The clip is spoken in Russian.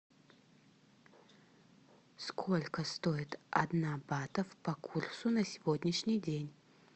сколько стоит одна бата по курсу на сегодняшний день